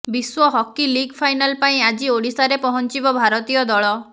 ବିଶ୍ୱ hockey league final ପାଇଁ ଆଜି ଓଡିଶାରେ ପହଞ୍ଚିବ ଭାରତୀୟ ଦଳ